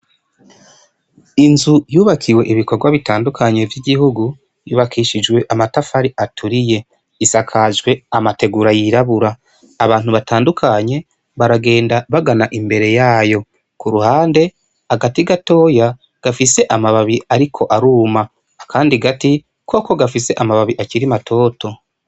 Inzu yubakiwe ibikorwa bitandukanye vy'igihugu yubakishijwe amatafari aturiye, isakajwe amategura yirabura, abantu batandukanye baragenda bagana imbere yayo, ku ruhande agati gatoya gafise amababi ariko aruma, akandi gati koko gafise amababi akiri matoto.